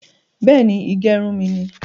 Beeni, ìgẹrun mi ni